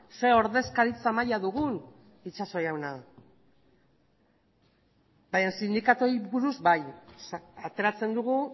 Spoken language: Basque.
zer ordezkaritza maila dugun itxaso jauna baina sindikatuei buruz bai ateratzen dugu